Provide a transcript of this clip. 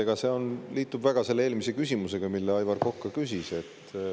Jah, see liitub väga eelmise küsimusega, mida Aivar Kokk küsis.